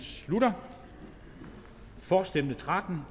slutter for stemte tretten